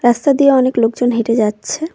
রাস্তা দিয়ে অনেক লোকজন হেঁটে যাচ্ছে।